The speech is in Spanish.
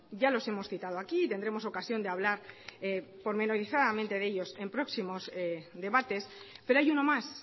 ya los hemos citado aquí y tendremos ocasión de hablar pormenorizadamente de ellos en próximos debates pero hay uno más